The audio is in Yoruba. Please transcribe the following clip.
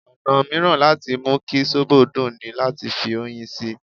Ọ̀nà mìíràn láti mú kí sóbò dùn ní láti fi oyin sí i.